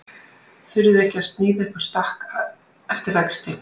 Þurfið þið ekki að sníða ykkur stakk eftir vexti?